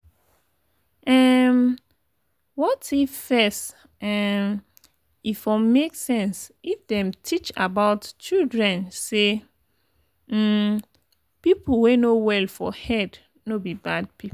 ehmm waif first um e for make sense if them teach about childred say um people wey no well for head no be bad people.